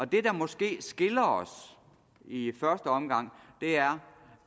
det der måske skiller os i i første omgang er